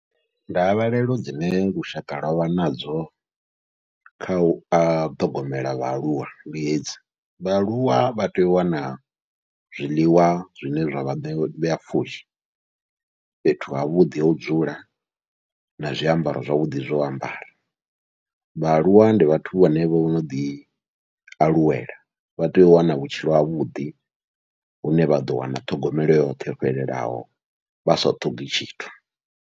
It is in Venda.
Ndavhelelo dzine lushaka lwavha nadzo kha u ṱhogomela vhaaluwa ndi hedzi, vhaaluwa vha tea u wana zwiḽiwa zwine zwavha vhe ṋea pfhushi fhethu havhuḓi ho dzula na zwiambaro zwavhuḓi zwo ambara. Vhaaluwa ndi vhathu vhane vho noḓi aluwela vha tea u wana vhutshilo havhuḓi, hune vha ḓo wana ṱhogomelo yoṱhe yo fhelelaho vha sa ṱhogi tshithu.